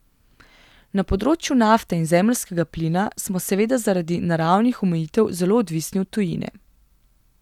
Na področju nafte in zemeljskega plina smo seveda zaradi naravnih omejitev zelo odvisni od tujine.